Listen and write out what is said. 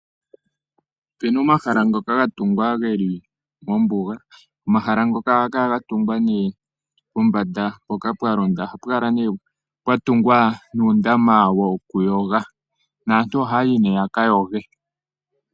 Opu na omahala ngoka ga tungwa ge li mombuga. Omahala ngoka ohaga kala ga tungilwa pombanda mpoka pwa londa. Pomahala mpoka ohapu kala pwa tungwa uundama wokuyoga naantu ohaya yi nduno ya ka yoge.